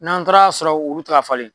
N'an taara sɔrɔ olu teka falen